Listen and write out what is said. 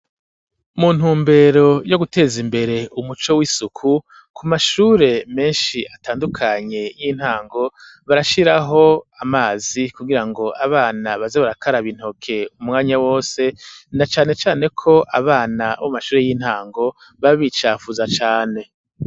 Mu ntumbero yo guteza imbere umuco w'isuku ku mashure meshi atandukanye y'intango barashiraho amazi kugira ngo abana baze barakaraba intoke umwanya wose na cane cane ko abana bo mu amashure y'intango baba bicafuza cane.